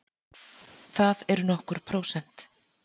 Það eru nokkur prósent.